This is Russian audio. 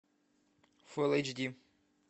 фулл эйч ди